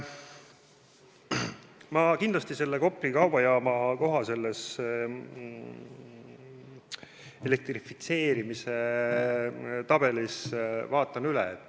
Ma vaatan selle Kopli kaubajaama koha selles elektrifitseerimise tabelis üle.